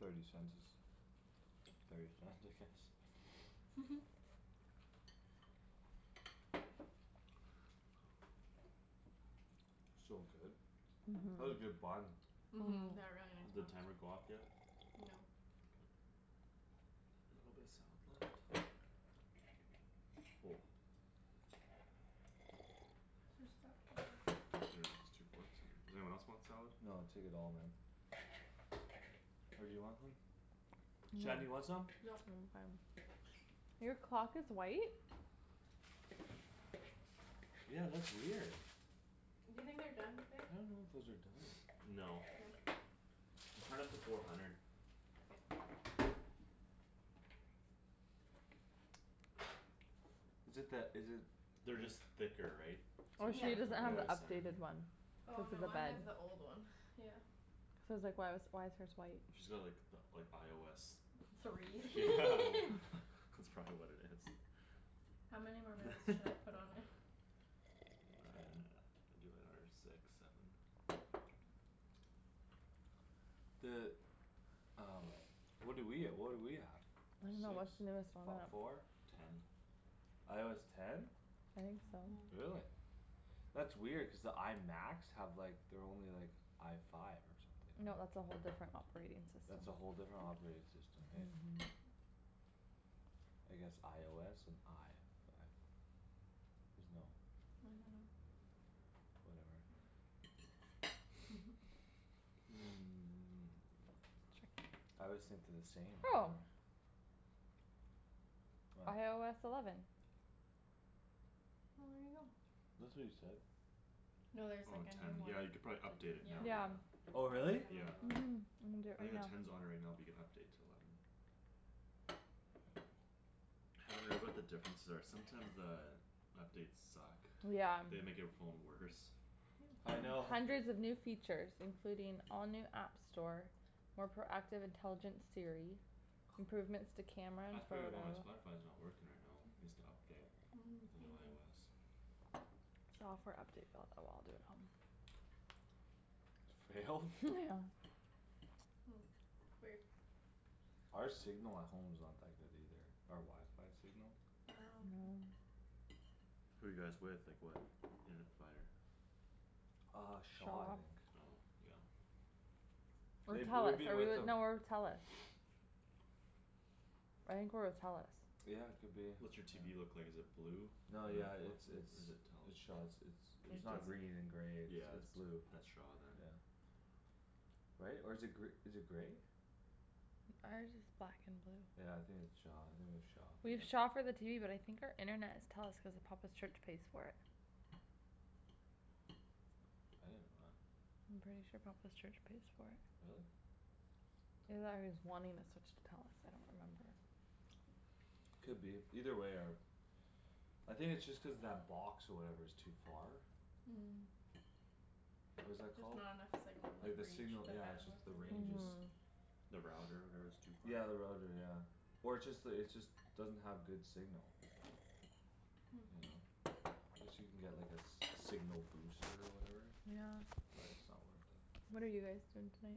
Thirty cents is thirty cents, I guess. So good. That's a Mhm. good bun. Mhm, Mhm. they're really nice Did plums. timer go off yet? No. Okay. A little bit of salad left. Just spot kill 'em. Pretty much just two forks in here. Does anyone else want salad? No, take it all man. Or do you want some? Shan, do you No. want some? Nope. I'm fine. Your clock is white? Yeah, that's weird. Do you think they're done, babe? I don't know if those are done. No. No? Just turn up to four hundred. K. Is it that, is it They're just thicker, right? So Oh, just Yeah. try she to doesn't cook all the have way the the Yeah. center updated there. one. Oh Cuz of no, the I bag. have the old one, yeah. Cuz I was, like, "Why was, why is hers white?" She's got like the, like, IOS. Three. Yeah, Cool. that's probably what it is. How many more minutes do I put on it? Ten. Do, like, another six, seven. The um What do we, uh what do we have? I dunno, Six? what's the newest on Fo- that? four? Ten. IOS ten? I think so. Mhm. Really? That's weird cuz the I Macs have, like, they're only, like, I five No, or that's something, right? a whole different operating system. That's a whole different operating system, hey? I guess IOS and I five. There's no I dunno. Whatever. Sure. I always think they're the same. What? IOS eleven. Well, Well, there there you you go. go. That's what you said. No, No, there's, there's, Oh, like, like, a a new ten. one new Yeah, you one. could probably too, update it yeah. now, Yeah. yeah. Oh Already really? have a Yeah. new one. Mhm. I'm gonna do it I think right the now. ten's on it right now but you can update to eleven. Haven't read what the differences are. Sometimes the Updates suck. Yeah. They make your phone worse. Yum I know. Hundreds of new features, including all new app store More proactive intelligent Siri Improvements to camera and That's probably photo why my Spotify's not working right now. Needs to update. New Maybe IOS. Software update failed. Oh, well, I'll do it at home. For real? Yeah. Hmm, weird. Our signal at home's not that good either. Our wifi signal. Oh, okay. No. Who you guys with? Like what internet provider? Uh Shaw, I Shaw. think. Oh, yeah. Or They, we've Telus. Are been we with with, them no, we're with Telus. I think we're with Telus. Yeah, could be, What's your TV yeah. look like, is it blue? Or No, yeah, it's, what's it? Or is it's, it it's Shaw. it's, it's Telus? It's It's the not green and grey; it's, Yeah, it's that's, blue. that's Shaw then. Yeah. Right? Or is it gr- is it grey? Ours is black and blue. Yeah, I think it's Shaw, I think we have Shaw. We have Yeah. Shaw for the TV but I think our internet is Telus cuz Papa's church pays for it. I didn't know that. I'm pretty sure Papa's church pays for it. Really? Either that or he's wanting to switch to Telus. I don't remember. Could be. Either way our I think it's just cuz that box or whatever is too far? What is that Just called? not enough signal Like like the reach signal, the yeah, it's just bandwidth the or range is whatever. Mhm. The router, whatever, is too far? Yeah, the router, yeah. Or it's just the, it's just Doesn't have good signal. You know? Guess you can get like a s- signal booster or whatever? Yeah. But it's not worth it. What are you guys doing tonight?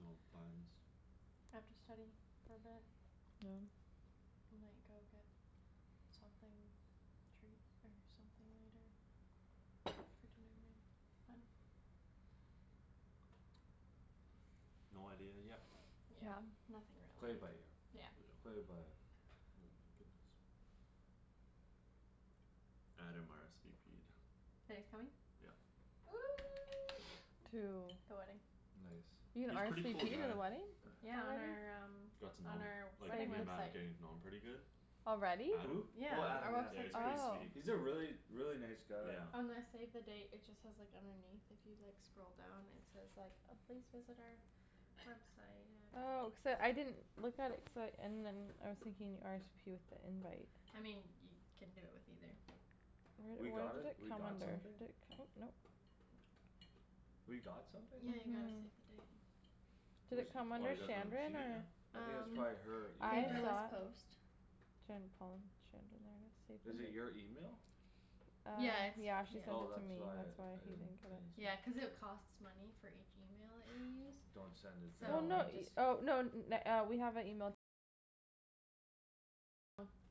No plans. I have to study for a bit. Oh. We might go get something, treat or something later after dinner maybe, I dunno. No idea yet. Yeah, nothing Play it by really. ear. Yeah. Play it by Oh my goodness. Adam RSVP'd. That he's coming? Yep. To The wedding. Nice. You can He's pretty RSVP cool to guy. the wedding? Yeah, on our Already? um Got to know on him. our Like wedding me and Matt are website. getting to know him pretty good. Already? Who? Adam. Yeah, Oh Adam? Adam, our yeah. Yeah, website's he's ready. pretty Oh. sweet. He's a really, really, nice guy. Yeah. On the save the date it just says, like, underneath if you, like, scroll down it says like, uh "Please visit our website at" Oh, cuz uh I didn't Look at it cuz I, and then I was thinking RSVP with the invite. I mean, you can do it with either. We Where, got what a, does it we come got under? something? Did it come out, nope. We got something? Yeah, you got a Mhm. save the date. Did it Whose come Oh, under you guys haven't Shandryn seen it yet? or I think it's Um, probably her email. I Paperless thought Post. Shan and Paul and Shandryn, there it is, save Is the it date. your email? Uh Yeah, it's, yeah. yeah, she sent it Oh to me; that's why that's I, why I you didn't, didn't get I it. didn't Yeah, see. cuz it costs money for each email that you use Don't send it Oh, So to no, we anyone. just y- oh, no n- na- uh we have a email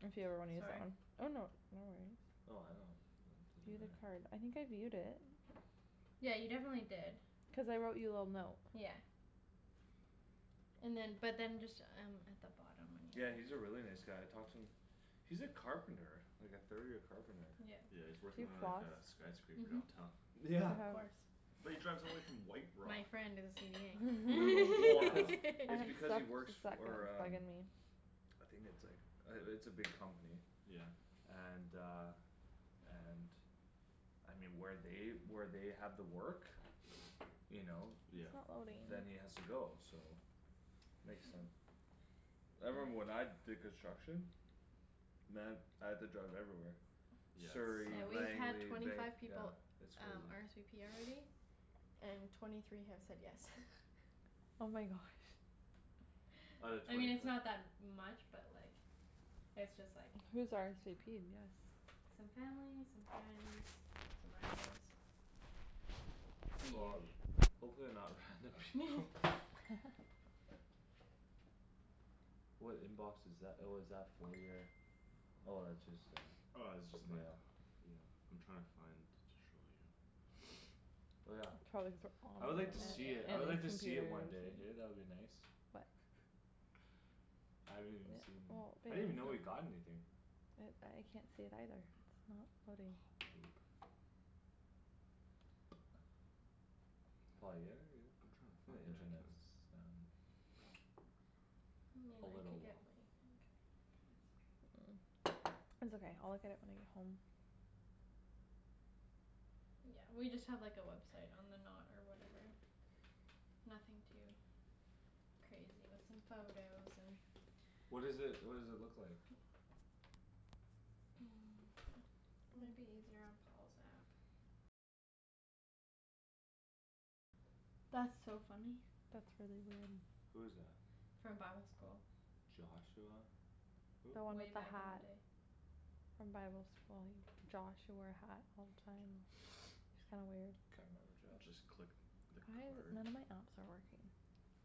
If you ever wanna use that one. Oh, no, no worries. Oh I don't you know, View it the doesn't matter. card. I think I viewed it. Yeah, you definitely did. Cuz I wrote you a little note. Yeah. And then, but then just um at the bottom when Yeah, you he's a really nice guy. I talked to him. He's a carpenter. Like a third year carpenter. Yep. Yeah, he's Do working you He on like floss? a skyscraper downtown. Mhm, Yeah. of course. But he drives all the way from White Rock. My friend did the Brutal, well, cuz CVing. It's Except she because he works suck and for it's um bugging me. I think it's, like, uh it's a big company. Yeah. And uh and I mean, where they, where they have the work You know Yeah. It's not loading. Then he has to go, so Makes sense. I remember when I did construction Man, I had to drive everywhere Yeah, Surrey, Yeah, we've it sucks. had Langley, twenty Vanc- five yeah. people It's um crazy. RSVP already. And twenty three have said yes. Oh my gosh. Out of I mean, twenty it's fi- not that much but, like It's just, like Who's RSVP'd yes? Some family, some friends, some rando's The Well, usu. hopefully they're not random people. What inbox is tha- oh, is that for your Oh, that's just uh Oh, this is just my mail. Yeah. I'm trying to find to show you. Oh, yeah. Probably the I would like to see Yeah, it, I would and like to his see it computers. one day, hey? That would be nice. What? I haven't even Yeah, seen, well, I babe, didn't even know you it's like got anything. I can't see it either. Not loading. Poop. Paul, are you here, are you I'm trying to here? find The it. I can't internet's down. Hmm, A I little could get water. mine, I think. It's okay, I'll look at it when I get home. Yeah, we just have, like, a website on the Knot or whatever. Nothing too crazy, with some photos and What is it, what does it look like? Might be easier on Paul's app. That's so funny. That's really weird. Who is that? From bible school. Joshua, who? The one Way with the back in hat. the day. From bible school, Josh who wore a hat all the time. It's kinda weird. Can't remember Josh. Just click the Why is it card. none of my apps are working?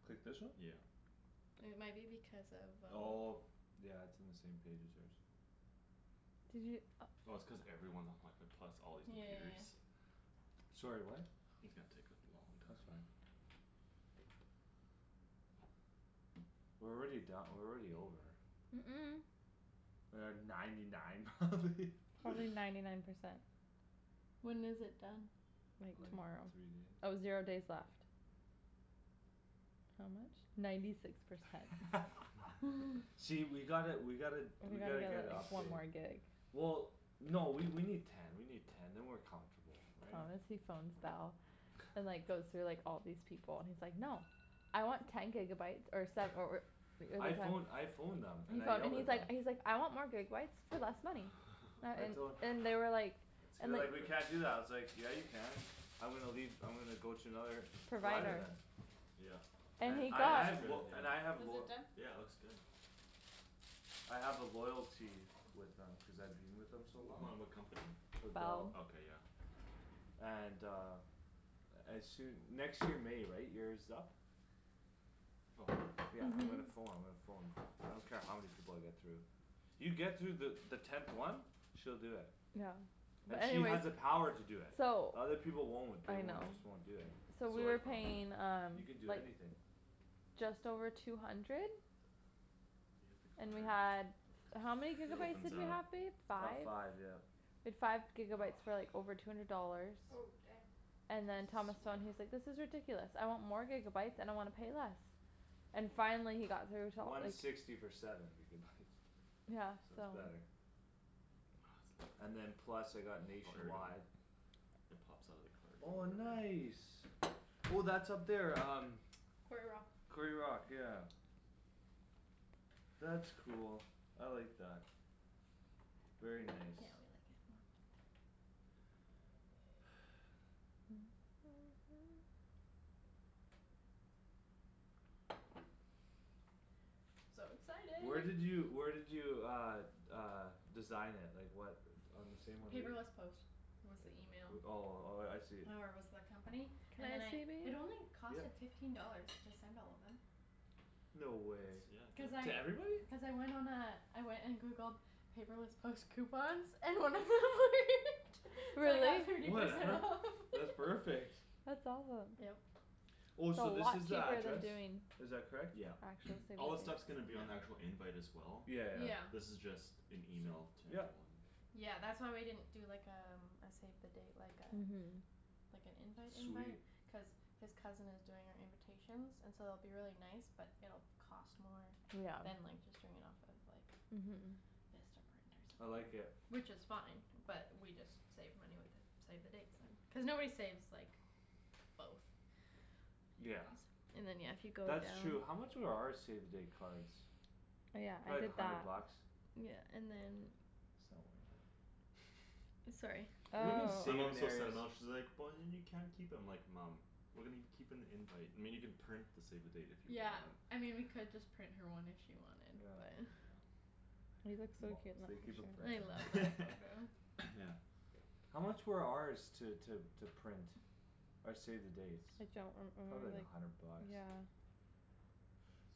Click this one? Yeah. It might be because of um Oh. Yeah, it's in the same page as hers. Did you, oh. Oh, it's cuz everyone's on wifi plus all these Yeah, yeah, yeah, computers. yeah. Sorry, what? It's gonna take a long That's fine. time. We're already don- we're already over. Mm- mm. We're at ninety nine probably. Probably ninety nine percent. When is it done? Like Like tomorrow. three Oh, zero days days. left. How much? Ninety six percent. See, we gotta, we gotta, We we gotta gotta get a get, like, one update. more gig. Well, no, we, we need Ten, we need ten, then we're comfortable, right? Honestly phones Bell. And, like, goes through, like, all these people. And he's like, "No!" "I want ten gigabyes or se- or" I phone, I phoned them He and I phoned yelled and he's at them. like, he's like, "I want more gigabyes for less money." That I and, tol- and they were like They And were That's like, like "We can't do epic. that." I was like "Yeah, you can." "I'm gonna leave, I'm gonna go to another" "provider Provider. then." Yep. It, And And he I, that I got looks have good, lo- yeah. and I have Is lo- it done? Yeah, it looks good. I have a loyalty with them cuz I've been with them so long. Hold on, what company? With Bell. Bell. Okay, yeah. And uh As soo- next year May, right? Year's up. Oh. Yeah, I'm gonna pho- I'm gonna phone. I don't care how many people I get through. You get through the, the tenth one. She'll do it. Yeah. And But she has anyways the power to do it. So The other people won't. They I know. won't, just won't do it. So So we like, were oh. paying um You can do like anything. Just over two hundred You hit the And we card. had, how many It gigabytes opens did we up. have, babe? About Five? five, yeah. We had five gigabytes for, like, over two hundred dollars. Oh, dang. And Supposed then Thomas to phoned, he's swipe. like, "This is ridiculous. I want more gigabytes and I wanna pay less." And finally he got through till One it sixty for seven gigabytes. Yeah, So so. it's better. And then It's plus I got Oh, here we go. nationwide It pops out of the card Oh, or whatever. nice. Oh, that's up there um Quarry Rock. Quarry Rock, yeah. That's cool; I like that. Very Yeah, we nice. like it more. So Where excited. did you, where did you uh Uh design it? Like what On the same one we'd Paperless Post was the Like, email. uh, oh, oh, yeah, I see. Or was the company Can and then I I, see, it babe? only cost, Yep. like, fifteen dollars to send all of them. No way. Cuz That's, yeah, good. To I, everybody? cuz I went on a I went and Googled Paperless Post coupons And then it worked. So I got Really? thirty percent Whatever, off. that's perfect. That's awesome. Yep. Oh, That's a so this lot is the cheaper than address? doing Is that correct? Yeah. Actual save All this stuff's the dates. gonna be on the actual invite as well. Yeah. Yeah, yeah. This is just an email to Yep. everyone. Yeah, that's why we didn't do, like, um a save the date, like uh Mhm. Like an invite Sweet. invite cuz His cousin is doing our invitations And so it'll be really nice but it'll cost more Yeah, Than, like, just doing it off of, like, mhm. Vistaprint or I like something. it. Which is fine but we just save money with the Save the dates then, cuz nobody saves, like, both. Yeah. And then, yeah, if you go That's down true. How much were our save the date cards? Oh, yeah, I Probably a did that. hundred bucks. Yeah, and then It's not worth it. Sorry. You can My mom thinks I'm not, she's like, "But then you can't keep 'em." I'm like, "Mom." "We're gonna gi- keep an invite, I mean, you can print the save the date if you Yeah, want." I mean we could just print her one if she wanted but Yeah. Yeah. Moms. They keep 'em I love forever. that photo. Yeah. How much were ours to, to, to print? Our save the dates? I don't re- Probably remember, like a hundred like, bucks. yeah.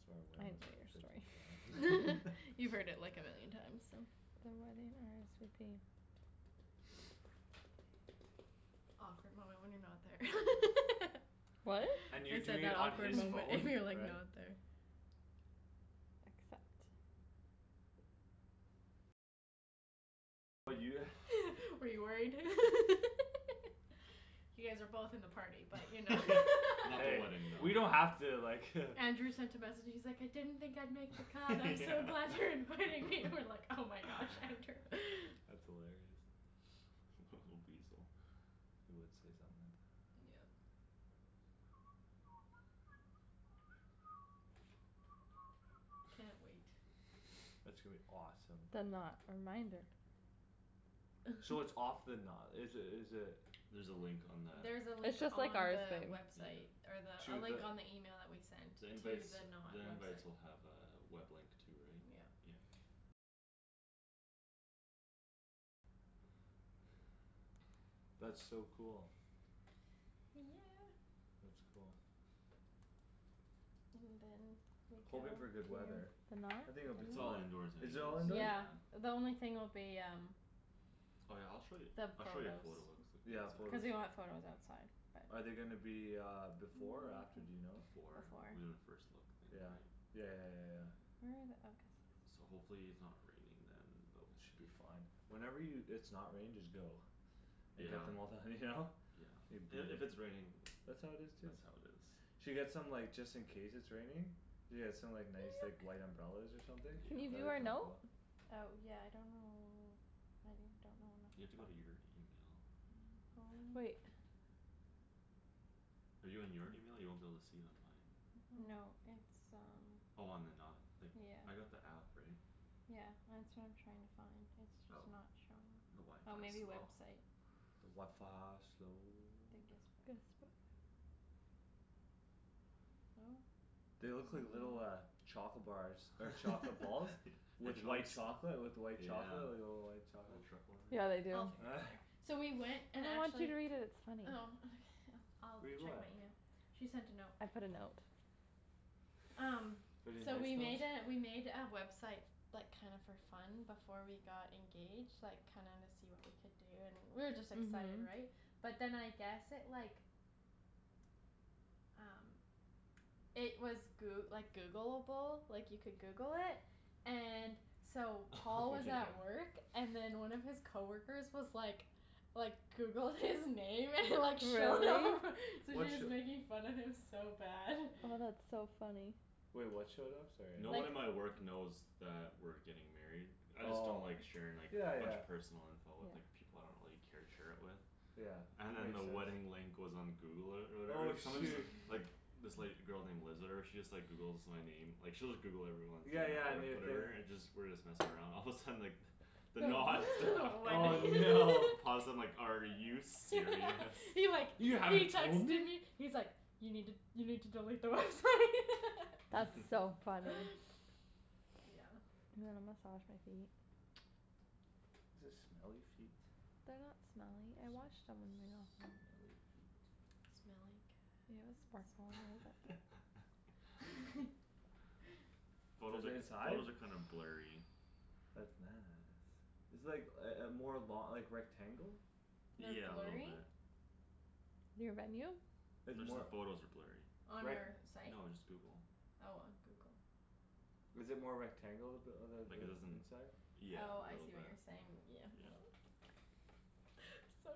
Sorry, when I it was didn't like hear your fifty story. five or You've heard it like a million times, so. The wedding RSVP. Awkward moment when you're not there. What? And you're I said, doing "That it on awkward his and phone, you're, like, right? not there." Accept. Were you worried? You guys are both in the party but you know Not the Hey, wedding, though. we don't have to like Andrew sent a message; he's like, "I didn't think I'd make the cut. I'm so Yeah. glad you're inviting me!" And I'm like, "Oh my gosh, Andrew." That's hilarious. Little weasel. He would say something like that. Yeah. Yeah. Can't wait. It's gonna be awesome. The Knot reminder. So it's off the na- is it, is it There's a link on that. There's a link It's just on like ours, the babe. website. Yeah. Or the, a To link the on the email that we sent. The To invites, the Knot the invites website. will have a web link too, right? Yeah. Yeah. That's so cool. Yeah. That's cool. And then we go Hoping for good weather. to The Knot? I think Can it'll be It's all fine. you indoors Is anyways, it all indoor? Yeah, yeah. the only thing will be um Oh, yeah, I'll show you, The I'll show you a photo photos. quickly Yeah, Cuz photos. we wanna have photos outside, Are but they gonna be uh before or after, do you know? Before. We're gonna Before. first look in the Yeah, night. yeah, yeah, yeah, yeah. Where are the, oh So guest list. hopefully it's not raining then but we We should should be be fine. fine. Whenever you, it's not raining just go. And get Yeah. the mo- the, you know? Say "Beat And if it." it's raining, That's that's how how it it is too. is. Should get some, like, just in case it's raining. Yeah, some, like, nice, like, white umbrellas or something. Can you do That'd be our kinda note? cool. Oh yeah, I don't know, I don't know You where have to my go to phone your email. My phone. Wait. Are you in your email? You won't be able to see it on mine. No, it's um Oh on The Knot. Like, Yeah. I got the app, right? Yeah, that's what I'm trying to find. It's Oh, just not showing. the Oh, maybe wifi's slow. website. The wifi slow. Then guestbook. Guestbook. No. They look like little uh Chocolate bars or chocolate balls. With White. white chocolate, with white chocolate, Yeah. like, little white Little chocolates. truffle in there. Yeah, they do. I'll figure it out later. So we went and No, I want you actually to read it, it's funny. Oh okay, I'll d- Read I'll check what? my email. She sent a note. I put a note. Um, Pretty so we nice note? made a, we made a website Like, kinda for fun before we got engaged. Like, kinda wanna see what we could do and we were just excited, Mhm. right? But then I guess it, like Um It was Goo- like Googleable, like, you could Google it And so Paul Oh, was yeah. at work And then one of his coworkers was like Like, Googled his name and like showed up Really? So What sh- just making fun of him so bad. Oh, that's so funny. Wait, what showed up? Sorry, No I one Like at my work knows that we're getting married. I just don't Oh, like sharing, like, yeah, a bunch yeah. of personal info with, like People I don't really care to share it with. Yeah, And then makes the sense. wedding link was on Google or, or Oh whatever. Someone's shoo- Like, this, like, girl named Liz or whatever she Just, like, Googles my name. Like, she'll just Google everyone When Yeah, we're at yeah, work new thing. whatever and just, we're just messing around, all of a sudden, like The Knot stuff Oh, Wedding no. Paused and like, "Are you serious?" He, like, he "You haven't told texted me?" me He's like, "You need to, you need to delete the website." That's so funny. Yeah. You wanna massage my feet? Is this smelly feet They're not smelly. I washed them when you're not home. Smelly feet. Smelly You know cat, sparkle a little smelly bit there. cat. Photos Is it are, inside? photos are kinda blurry. That's nice. It's, like, uh uh more lo- like, rectangle? They're Yeah, a little blurry? bit. Your venue? It's Just the more, photos are blurry. On like our site? No, just Google. Oh, on Google. Is it more rectangle? The uh Like the, the it isn't, inside? yeah, Oh, a I little see what bit. you're saying. Oh, Yeah. it's So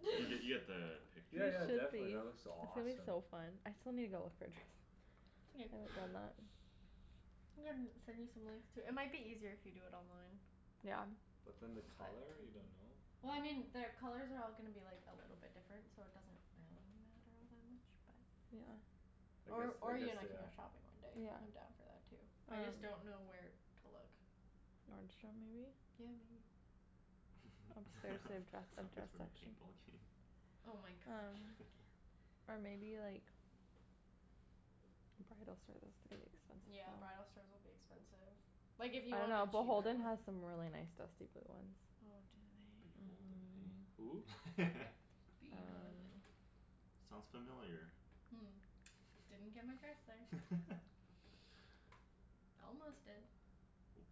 You get, you get the You picture Yeah, yeah, though. should definitely be. that looks It's gonna be awesome. so fun. I still need to go look for a dress. It's okay. I'm gonna send you some links too. It might be eaiser if you do it online. Yeah. But then the But color, you don't know? Well, I mean their colors are all gonna be like a little different so it doesn't really matter all that much, but Yeah. I guess, Or, I or you guess and I they can go are. shopping one day. Yeah, I'm I'm down down for for that that too. too. I just don't know where to look. Nordstrom maybe? Yeah, maybe. Um there's a dress, a You guys dress for another section. paintball game? Oh my gosh. Or maybe like Bridal store, that's gonna be expensive Yeah, though. bridal stores will be expensive. Like, if you Oh, want a no, cheaper Beholden one. has some really nice dusty blue ones. Oh, do they? Beholden, Who? hey? Uh Beholden. Sounds familiar. Didn't get my dress there. Almost did. Oops.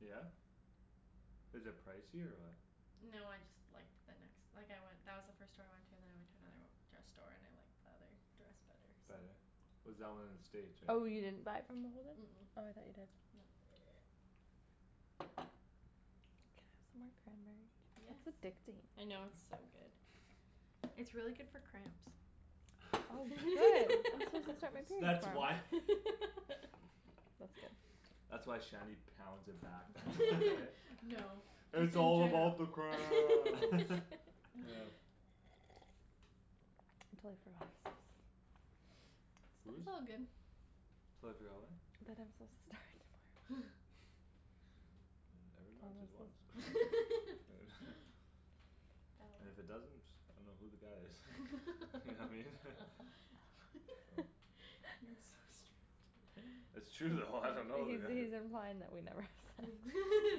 Yeah? Is it pricey or what? No, I just liked the nex- like, I went, that was the first store I went To and then I went to another dress store and I liked The other dress better, so. Better? Was that one in the States, right? Oh, you Mhm. didn't buy it from Beholden? Mm- mm. Oh, I thought you did. No. Can I have some more Yes. cranberry? It's addicting. I know, it's so good. It's really good for cramps. Oh I'm supposed to start my Girls. period That's tomorrow. why. That's cool. That's why Shanny pounds it back then, eh? No. That's "It's what all I'm about the trying cramps!" to I'm totally forgot I was supposed to Whose? It's all good. Totally forgot, what? That I'm supposed to start tomorrow. Never Thomas's mind, And if it That was doesn't, I dunno who the guy is. You know what I mean? Oh. You're so strange. It's true though, I dunno who He's, the guy is. he's implying that we never have se-